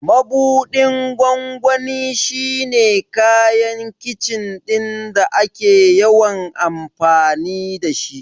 Mabuɗin gwangwani shi ne kayan Kicin ɗin da ake yawan amfani da shi.